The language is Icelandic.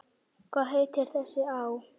Hvað heitir þessi á?